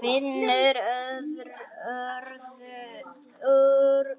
Finnur örðu